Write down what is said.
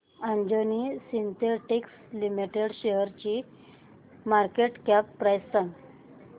Anjani synthetics limited शेअरची market cap price सांगा